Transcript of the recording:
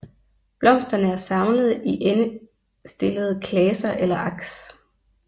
Blomsterne er samlet i endestillede klaser eller aks